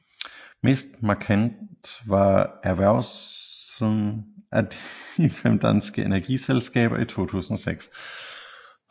Mest markant var erhvervelsen af de fem danske energiselskaber i 2006